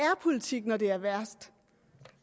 politik når det er værst